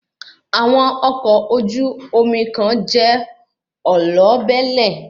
Àwọn ọkọ̀ ojú omi kan jẹ́ olóbẹ̀lẹ̀